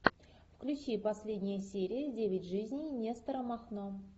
включи последние серии девять жизней нестора махно